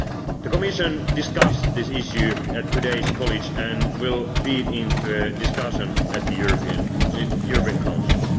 own citizens. The Commission discussed this issue at todayʼs College, and will feed into a discussion at the European